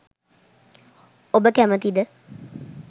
ඔබ කැමැතිද